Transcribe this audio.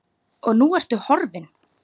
Og nú ertu horfin.